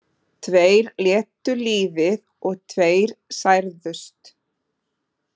Tveir létu lífið og tveir særðust